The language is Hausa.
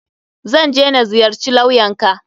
Zan je na ziyarci lawyan ka.